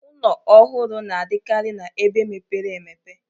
Ụnọ ọhụrụ na-adịkarị na-ebe mepere emepe.